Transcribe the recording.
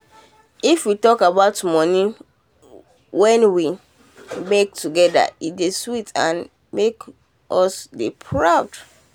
if we dey talk about money wen we um make together e dey sweet and make us dey proud um